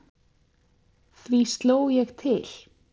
Því sló ég til.